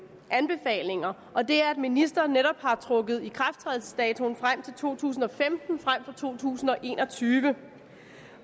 anbefalinger og det er at ministeren netop har trukket ikrafttrædelsesdatoen frem til to tusind og femten frem for to tusind og en og tyve